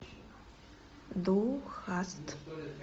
ду хаст